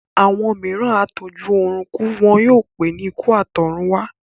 Àwọn mìíràn á tó jú ọrùn kú, wọn yóò pé ní ikú àtọ̀run wá